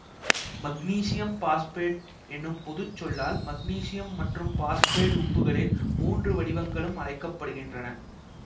magnesium phosphate என்ற பொது சொல்லால் மக்னீசியம் மற்றும் பாசுபேட்டு உப்புகளின் மூன்று வடிவங்களும் அழைக்க படுகின்றன